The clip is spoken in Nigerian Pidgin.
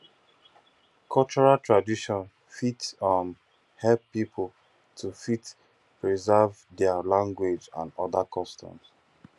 cultural tradition fit um help pipo to fit preserve their language and oda customs